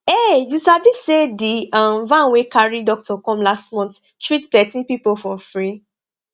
um you sabi say di um van wey carry doctor come last month treat plenty people for free